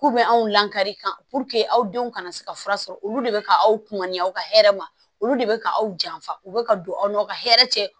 K'u bɛ anw lakari ka aw denw kana se ka fura sɔrɔ olu de bɛ ka aw kunnaya aw ka hɛrɛ ma olu de bɛ ka aw janfa u bɛ ka don aw n'aw ka hɛrɛ cɛ